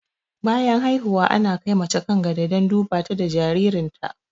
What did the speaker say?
Bayan haihuwa ana kai mace kan gado don duba ta da jaririn ta